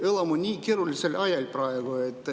Me elame nii keerulisel ajal praegu.